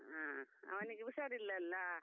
ಹಾ, ಅವನಿಗೆ ಹುಷಾರಿಲ್ಲಲಾ.